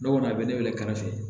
Ne kɔni a bɛ ne wele kɛrɛfɛ